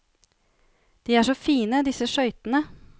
De er så fine, disse skøytene.